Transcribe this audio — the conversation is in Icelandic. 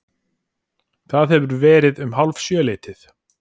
Það hefur verið um hálfsjöleytið.